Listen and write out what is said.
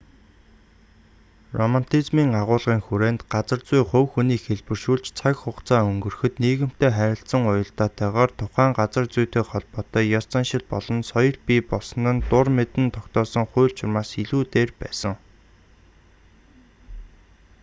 романтизмын агуулгын хүрээнд газар зүй хувь хүнийг хэлбэршүүлж цаг хугацаа өнгөрөхөд нийгэмтэй харилцан уялдаатайгаар тухайн газар зүйтэй холбоотой ёс заншил болон соёл бий болсон нь дур мэдэн тогтоосон хууль журмаас илүү дээр байсан